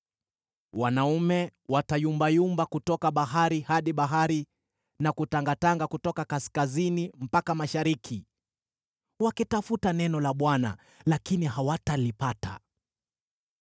Wanaume watayumbayumba kutoka bahari hadi bahari na kutangatanga kutoka kaskazini mpaka mashariki, wakitafuta neno la Bwana , lakini hawatalipata.